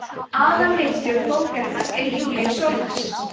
aðalritstjóri bókarinnar er júlíus sólnes